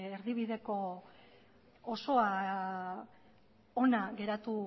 erdibideko osoa ona geratu